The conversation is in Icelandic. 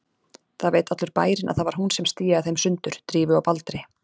Það veit allur bærinn að það var hún sem stíaði þeim sundur, Drífu og Baldri.